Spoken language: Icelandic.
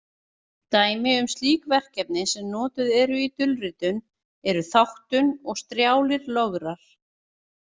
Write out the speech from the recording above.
Dæmi um slík verkefni sem notuð eru í dulritun eru þáttun og strjálir lograr.